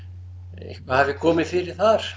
eitthvað hafi komið fyrir þar